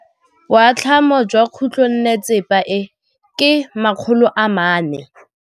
Boatlhamô jwa khutlonnetsepa e, ke 400.